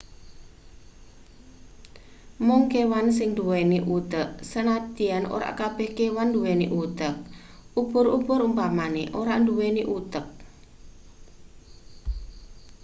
mung kewan sing nduweni utek sanadyan ora kabeh kewan nduweni utek ubur-ubur umpamane ora nduweni utek